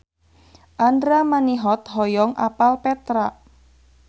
Andra Manihot hoyong apal Petra